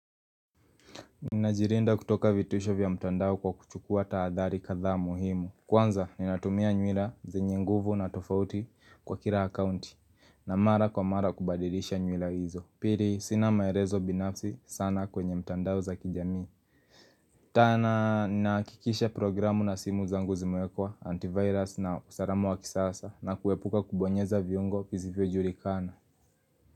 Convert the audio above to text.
Ninajilinda kutoka vitisho vya mtandao kwa kuchukua tahadhari kadhaa muhimu Kwanza ninatumia nywila zenye nguvu na tofauti kwa kila akaunti na mara kwa mara kubadilisha nywila hizo Pili sina maelezo binafsi sana kwenye mtandao za kijamii tena ninahakikisha programu na simu zangu ziwekwa antivirus na usalama wa kisasa na kuepuka kubonyeza viungo vizivyojulikana.